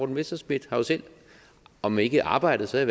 messerschmidt har jo selv om ikke arbejdet så i